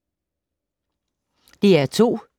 DR2